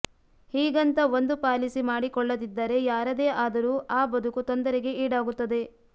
ಹೀಗಂತ ಒಂದು ಪಾಲಿಸಿ ಮಾಡಿಕೊಳ್ಳದಿದ್ದರೆ ಯಾರದೇ ಆದರೂ ಆ ಬದುಕು ತೊಂದರೆಗೆ ಈಡಾಗುತ್ತದೆ